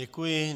Děkuji.